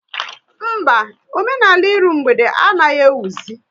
Mba, omenala ịrụ mgbede anaghị ewuzi